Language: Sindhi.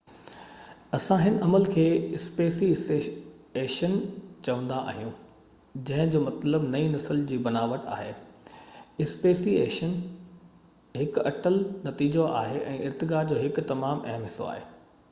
اسان هن عمل کي اسپيسي ايشن چوندا آهيون جنهن جو مطلب نئي نسلن جو بناوٽ آهي اسپيسي ايشن هڪ اٽل نتيجو آهي ۽ ارتقا جو هڪ تمام اهم حصو آهي